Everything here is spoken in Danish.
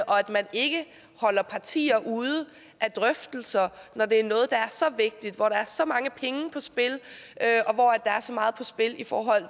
og at man ikke holder partier ude af drøftelser når det er noget der er så vigtigt hvor der er så mange penge på spil og så meget på spil i forhold